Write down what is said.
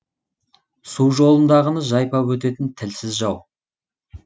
су жолындағыны жайпап өтетін тілсіз жау